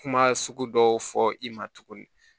Kuma sugu dɔw fɔ i ma tuguni